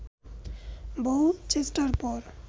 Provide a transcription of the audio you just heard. বহু চেষ্টার পর